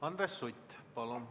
Andres Sutt, palun!